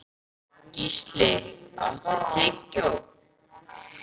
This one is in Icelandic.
Gísli, áttu tyggjó?